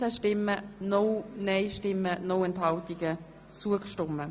Sie haben den Kredit angenommen.